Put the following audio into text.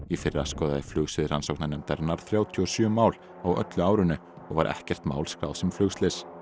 í fyrra skoðaði rannsóknarnefndarinnar þrjátíu og sjö mál á öllu árinu og var ekkert mál skráð sem flugslys